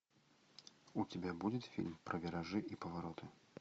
у тебя будет фильм про виражи и повороты